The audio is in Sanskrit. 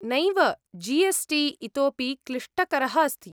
नैव, जी एस् टी इतोऽपि क्लिष्टकरः अस्ति।